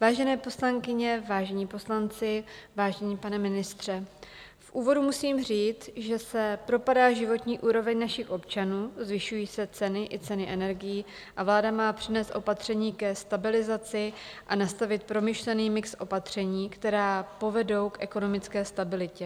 Vážené poslankyně, vážení poslanci, vážený pane ministře, v úvodu musím říct, že se propadá životní úroveň našich občanů, zvyšují se ceny i ceny energií a vláda má přinést opatření ke stabilizaci a nastavit promyšlený mix opatření, která povedou k ekonomické stabilitě.